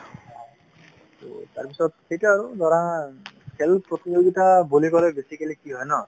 ত' তাৰ পিছত সেইটোৱেই আৰু ধৰা খেল প্ৰতিযোগিতা বুলি কলে basically কি হয় ন